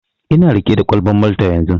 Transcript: Ina riƙe da kwalban Malta yanzun.